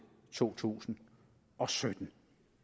to tusind og sytten